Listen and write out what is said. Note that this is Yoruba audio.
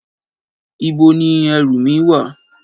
Ìbo ni èrú mí wà?